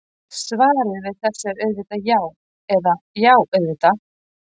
Svarið við þessu er auðvitað já eða: já, auðvitað!